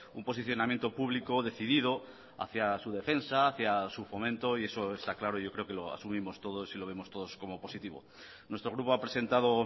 un posicionamiento público decidido hacia su defensa hacia su fomento y eso está claro yo creo que lo asumimos todos y lo vemos todos como positivo nuestro grupo ha presentado